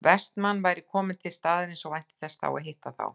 Vestmann væri kominn til staðarins og vænti þess að hitta þá